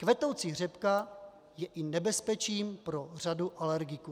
Kvetoucí řepka je i nebezpečím pro řadu alergiků.